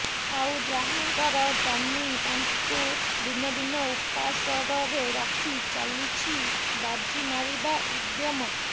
ଆଉ ଯାହାଙ୍କର ଜମି ତାଙ୍କୁ ଦିନ ଦିନ ଉପାସରରେ ରଖି ଚାଲିଛି ବାଜି ମାରିବା ଉଦ୍ୟମ